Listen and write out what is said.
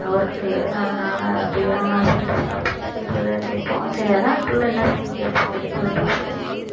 work க்கு அதனால அப்படி வேணாம்னு சொல்லிட்டு stop பண்ணிட்டு வீட்டுலதான் இருக்கேன் இப்போ சரி அதான் பிள்ளை என்ன செய்யுதுன்னு கேட்போம் அப்படின்னு சொல்லிட்டு கூப்பிட்டேன்